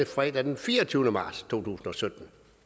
fredag den fireogtyvende marts to tusind